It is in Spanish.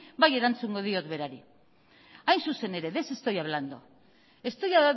bai erantzungo diot berari de eso estoy hablando estoy